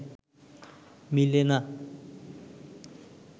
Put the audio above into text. মিলে না